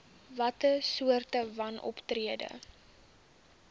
watter soorte wanoptrede